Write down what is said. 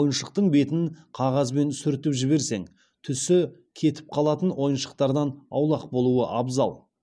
ойыншықтың бетін қағазбен сүртіп жіберсең түсі кетіп қалатын ойыншықтардан аулақ болуы абзал